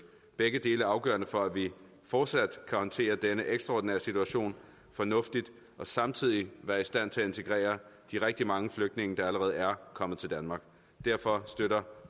begge dele er afgørende for at vi fortsat kan håndtere denne ekstraordinære situation fornuftigt og samtidig være i stand til at integrere de rigtig mange flygtninge der allerede er kommet til danmark derfor støtter